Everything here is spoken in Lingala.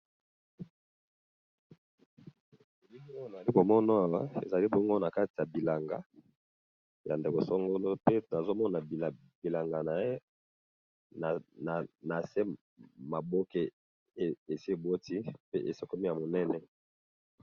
lilo na li komono ezali bongo na kati ya bilanga ya ndekosangolo pe nazomona bilanga naye na se maboke esi eboti pe esekomi ya monene